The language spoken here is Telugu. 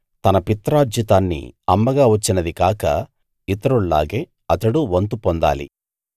తన పిత్రార్జితాన్ని అమ్మగా వచ్చినది కాక ఇతరుల్లాగే అతడు వంతు పొందాలి